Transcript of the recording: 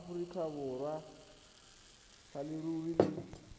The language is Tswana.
aforika borwa sa leruri le